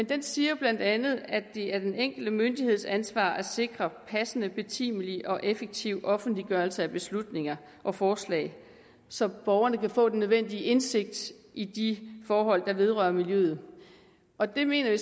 den siger bla at det er den enkelte myndigheds ansvar at sikre passende betimelig og effektiv offentliggørelse af beslutninger og forslag så borgerne kan få den nødvendige indsigt i de forhold der vedrører miljøet og det mener vi